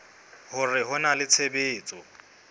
hore ho na le tshebetso